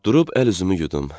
Durub əl üzümü yudum.